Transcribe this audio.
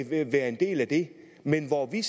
til at være en del af det men hvor vi